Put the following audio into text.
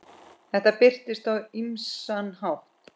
Þetta birtist á ýmsan hátt.